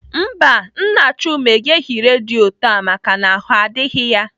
Mba, Nna Chuma egeghị redio taa maka na ahụ adịghị ya.